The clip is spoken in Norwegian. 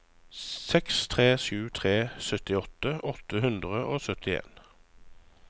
seks tre sju tre syttiåtte åtte hundre og syttien